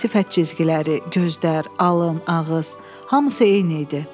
Sifət cizgiləri, gözlər, alın, ağız, hamısı eyni idi.